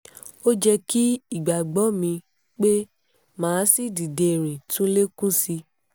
ó jẹ́ kí ìgbàgbọ́ mi pé mà á sì dìde rìn tún lè kún sí i